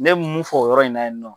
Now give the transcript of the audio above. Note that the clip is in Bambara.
Ne bɛ mun fɔ o yɔrɔ in na yen nɔ,